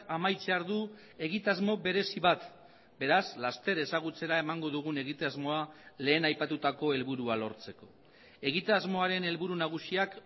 amaitzear du egitasmo berezi bat beraz laster ezagutzera emango dugun egitasmoa lehen aipatutako helburua lortzeko egitasmoaren helburu nagusiak